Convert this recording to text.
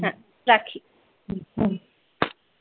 রাখি।